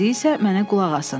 İndi isə mənə qulaq asın.